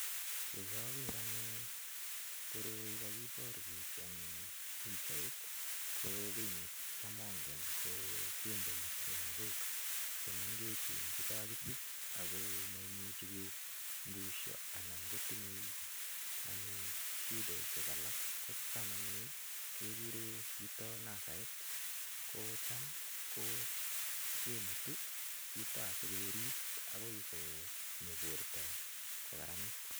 Ko kager anyun koroi kakibarwech eng pichait ko kiy necham angen ko kinden lagok che mengechen che kakisich ago mamuchi kobusio anan ngo tinyei anyun shidesiek alak kocham anyun keguree yuto nasarit kocham kimutu yuto asigerip agoi konyo borta ko kararanit.